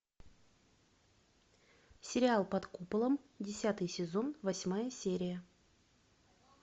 сериал под куполом десятый сезон восьмая серия